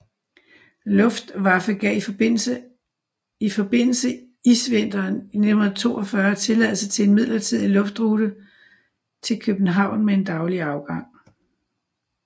Luftwaffe gav i forbindelse isvinteren i 1942 tilladelse til en midlertidig luftrute til København med en daglig afgang